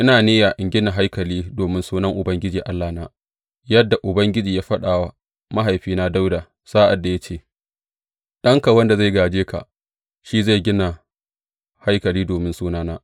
Ina niyya in gina haikali domin Sunan Ubangiji Allahna, yadda Ubangiji ya faɗa wa mahaifina Dawuda, sa’ad da ya ce, Ɗanka wanda zai gāje ka, shi zai gina haikali domin Sunana.’